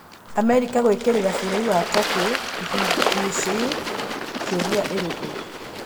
Amerika gwĩkĩrĩra Bũrũri wa Turkey ihĩngĩchĩ ĩï kĩũria ĩrĩkũ?